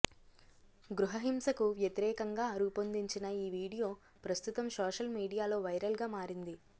గృహహింసకు వ్యతిరేకంగా రూపొందించిన ఈ వీడియో ప్రస్తుతం సోషల్మీడియాలో వైరల్గా మారింది